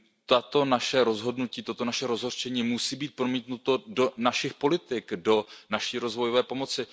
Tato naše rozhodnutí, toto naše rozhořčení musí být promítnuto do našich politik, do naší rozvojové pomoci.